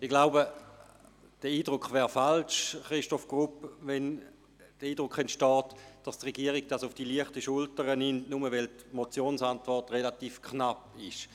Ich denke, der Eindruck von Christoph Grupp ist falsch, dass die Regierung dies auf die leichte Schulter nimmt, nur weil die Motionsantwort relativ knapp ausgefallen ist.